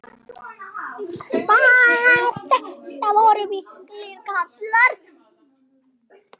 Þetta voru miklir kallar.